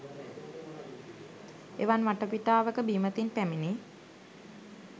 එවන් වටපිටාවක බීමතින් පැමිණි